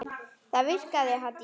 Það virkaði Haddý.